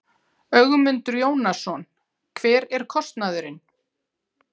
Ögmundur Jónasson: Hver er kostnaðurinn?